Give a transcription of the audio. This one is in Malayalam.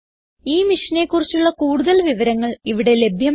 ഈ മിഷനെ കുറിച്ചുള്ള കുടുതൽ വിവരങ്ങൾ ഇവിടെ ലഭ്യമാണ്